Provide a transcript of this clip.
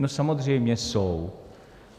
No samozřejmě jsou.